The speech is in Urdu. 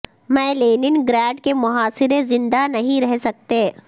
میں لینن گراڈ کے محاصرے زندہ نہیں رہ سکتیں